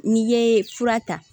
N'i ye fura ta